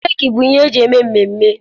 Keeki bụ ihe eji eme mmemme.